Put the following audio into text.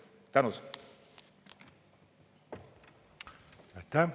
Tänud!